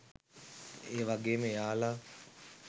ඒ වගේම එයාලා